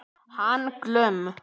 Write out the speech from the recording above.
Hann Glúm.